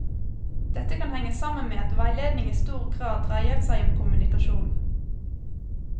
Dette kan henge sammen med at veiledning i stor grad dreier seg om kommunikasjon.